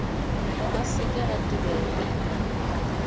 a se ke a tebelwa